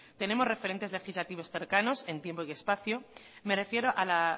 tenemos referentes legislativos cercanos en tiempo y espacio me refiero a la